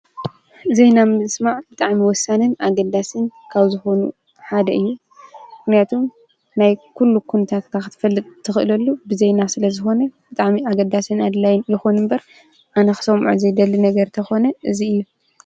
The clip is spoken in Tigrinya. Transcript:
ዜና ምስማዕ ብጣዕሚ ወሳንን ኣገዳስን ካብ ዝኾኑ ሓደ እዩ፡፡ ምኽንያቱ ናይ ኲሉ ኲነታካ ኽትፈልጥ ትኽእለሉ ብዜና ስለ ዝኾነ ብጣዕሚ ኣገዳስን ኣድላይን ልኾኑ እምበር ኣነ ኽሶምዖ ዘይደሊ ነገር ተኾነ እዙይ እዩ፡፡